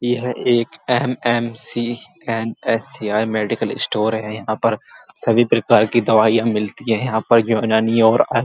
यह एक MMC and HC medical store है। यहाँ पर सभी प्रकार की दवाइयाँ मिलती हैं। यह पर यूनानी और --